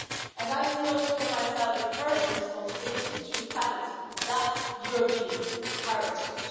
And I see also for myself a personal responsibility to defend that European heritage.